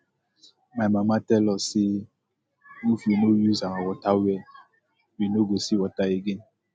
my mama tell us say if we no use our water well we no go see water again